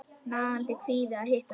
Nagandi kvíði að hitta hana.